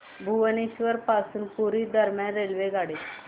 भुवनेश्वर पासून पुरी दरम्यान रेल्वेगाडी